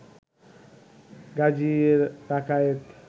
Gazi Rakayet